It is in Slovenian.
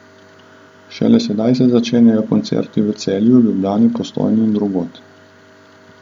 Šele sedaj se začenjajo koncerti v Celju, Ljubljani, Postojni in drugod.